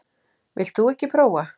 Vilt þú ekki prófa?